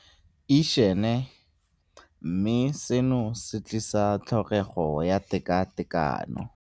Išene, mme seno se tlisa tlhokego ya tekatekano.